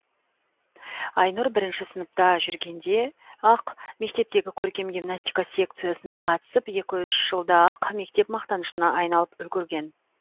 айнұр бірінші сыныпта жүргенде ақ мектептегі көркем гимнастика секциясына қатысып екі үш жылда ақ мектеп мақтанышына айналып үлгірген